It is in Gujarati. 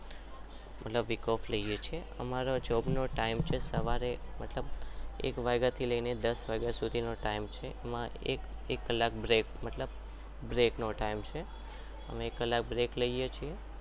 અમારી જોબ નો ટીમે છે સવારે